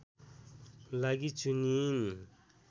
लागि चुनिइन्